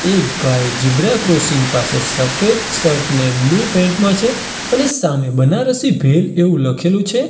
એક ભાઈ zebra crossing પાસે સફેદ શર્ટ અને બ્લુ પેન્ટ માં છે અને સામે બનારસી ભેલ એવું લખેલું છે.